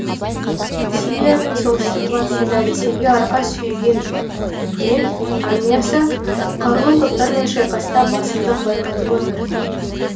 сирияның солтүстік батысында ресейге арқа сүйеген үкімет армиясы қарулы топтармен шайқаста басымдық байқатып отыр